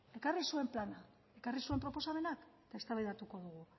ekarri zuen plana ekarri zuen proposamena eztabaidatuko dugu